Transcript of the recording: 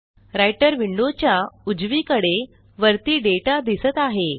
writer window च्या उजवीकडे वरती डेटा दिसत आहे